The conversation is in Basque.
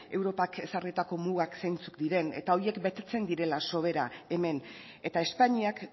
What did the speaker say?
europak ezarritako mugak zeintzuk diren eta horiek betetzen direla soberan hemen eta espainiak